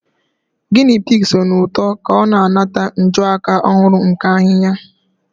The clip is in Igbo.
Guinea pig sụọ n'ụtọ ka ọ na-anata njuaka ọhụrụ nke ahihia.